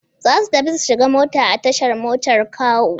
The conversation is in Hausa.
Za su tafi su shiga mota a tashar motar Kawo.